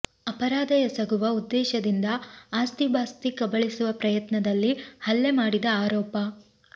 ಅಪರಾಧ ಎಸಗುವ ಉದ್ದೇಶದಿಂದ ಆಸ್ತಿಪಾಸ್ತಿ ಕಬಳಿಸುವ ಪ್ರಯತ್ನದಲ್ಲಿ ಹಲ್ಲೆ ಮಾಡಿದ ಆರೋಪ